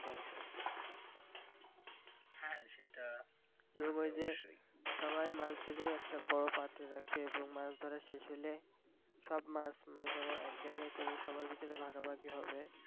এবংওই যে সবাই মাছ ধরে একটা বড় পাত্রে রাখে এবং মাছ ধরা শেষ হলে সব মাছ মনে করো এক জায়গায় করে সবার ভিতর ভাগাভাগি হবে।